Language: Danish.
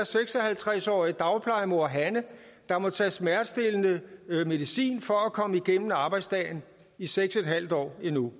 seks og halvtreds årige dagplejemor hanne der må tage smertestillende medicin for at komme igennem arbejdsdagen i seks en halv år endnu